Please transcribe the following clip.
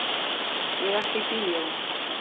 Ég ætla í bíó.